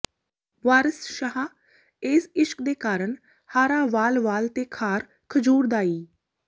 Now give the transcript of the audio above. ਵਾਰਸ ਸ਼ਾਹ ਏਸ ਇਸ਼ਕ ਦੇ ਕਰਨ ਹਾਰਾ ਵਾਲ ਵਾਲ ਤੇ ਖਾਰ ਖਜੂਰ ਦਾ ਈ